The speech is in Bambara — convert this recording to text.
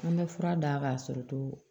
An bɛ fura d'a ka sɔrɔ ko